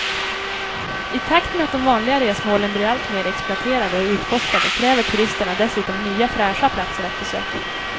I takt med att de vanliga resmålen blir allt mer exploaterade och utforskade kräver turisterna dessutom nya fräscha platser att besöka.